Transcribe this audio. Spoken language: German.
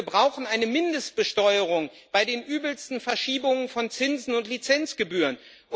Wir brauchen eine Mindestbesteuerung bei den übelsten Verschiebungen von Zinsen und Lizenzgebühren.